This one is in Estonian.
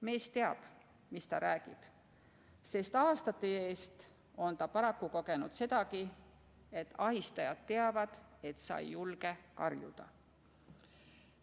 " Mees teab, mis ta räägib, sest aastate eest on ta paraku kogenud sedagi, et ahistajad teavad, et sa ei julge karjuda.